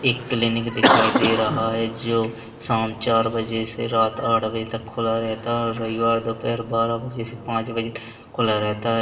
एक क्लीनिक दिखाई दे रहा है जो शाम चार बजे से रात आठ बजे तक खुला रहता है और रविवार दोपहर बारहा बजे से पाच बजे तक खुला रहता है।